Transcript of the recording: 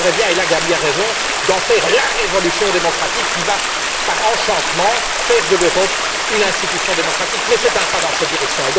Je me garderai bien et là, Gabrielle Zimmer a raison d'en faire la révolution démocratique qui va, par enchantement, faire de l'Europe une institution démocratique, mais c'est un pas dans cette direction.